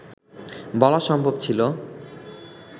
বলা সম্ভব ছিল